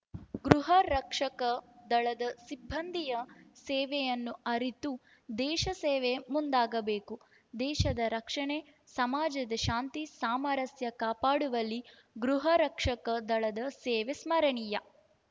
ಗೃಹರಕ್ಷಕ ದಳದ ಸಿಬ್ಬಂದಿಯ ಸೇವೆಯನ್ನು ಅರಿತು ದೇಶಸೇವೆಗೆ ಮುಂದಾಗಬೇಕು ದೇಶದ ರಕ್ಷಣೆ ಸಮಾಜದ ಶಾಂತಿ ಸಾಮರಸ್ಯ ಕಾಪಾಡುವಲ್ಲಿ ಗೃಹರಕ್ಷಕ ದಳದ ಸೇವೆ ಸ್ಮರಣೀಯ